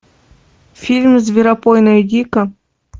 фильм зверопой найди ка